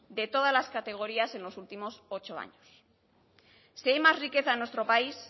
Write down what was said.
de todas las categorías en los últimos ocho años si hay más riqueza en nuestro país